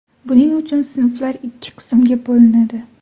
Buning uchun sinflar ikki qismga bo‘linadi.